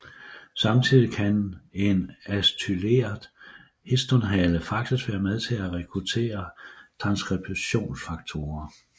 Samtidig kan en acetyleret histonhale faktisk være med til at rekruttere transskriptionsfaktorer